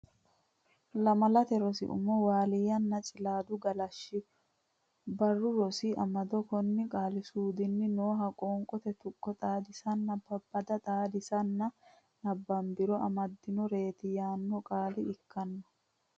Lamalate Rosi Umo Waaliyanna Cilaada Galashsho Barru Rosi Amado konne qaali suudunni nooha Qoonqote Tuqqo Xaadisanna Babbada xaadinse nabbambiro amaddannoreeti yaanno qaale ikkanno.